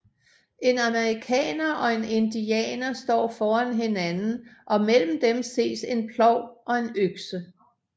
En amerikaner og en indianer står foran hinanden og mellem dem ses en plov og en økse